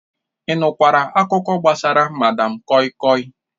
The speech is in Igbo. Ị nụkwara akụkọ gbasara madam koi koi?